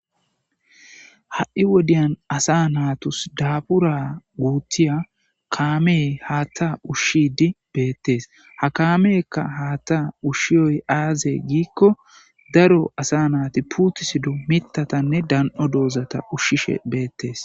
Ha'i wodiyan asa naatus daabura guuttiya kaamey haatta ushshidi beettes ha kaameekka haatta ushshiyoy aaze giikko daro asa naati puutisido mitatanne dan7o doozata ushshishe beettes